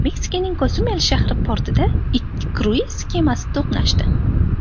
Meksikaning Kosumel shahri portida ikki kruiz kemasi to‘qnashdi.